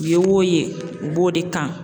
I ye wo ye, i b'o de kan.